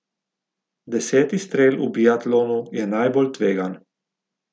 Deseti strel v biatlonu je najbolj tvegan.